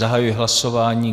Zahajuji hlasování.